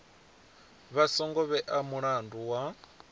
vha songo vhea mulandu wa